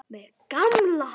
Mig gamla.